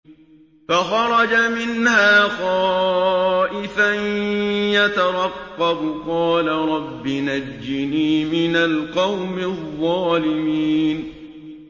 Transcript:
فَخَرَجَ مِنْهَا خَائِفًا يَتَرَقَّبُ ۖ قَالَ رَبِّ نَجِّنِي مِنَ الْقَوْمِ الظَّالِمِينَ